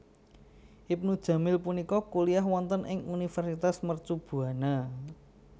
Ibnu jamil punika kuliyah wonten ing Universitas Mercu Buana